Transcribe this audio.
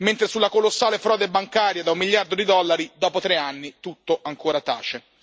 Mentre sulla colossale frode bancaria da un miliardo di dollari, dopo tre anni tutto ancora tace.